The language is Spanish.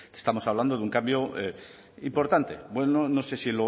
estamos hablando de un cambio importante bueno no sé si